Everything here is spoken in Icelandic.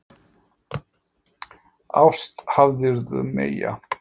Ást hafðirðu meyja.